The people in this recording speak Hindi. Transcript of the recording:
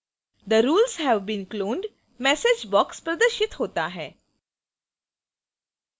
the rules have been cloned message box प्रदर्शित होता है